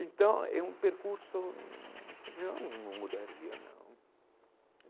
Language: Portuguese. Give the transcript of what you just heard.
Então, é um percurso... Não, não mudaria, não.